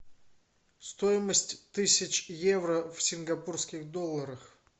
стоимость тысяч евро в сингапурских долларах